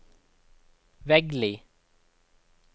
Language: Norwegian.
Veggli